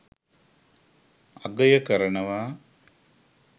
අගය කරනවා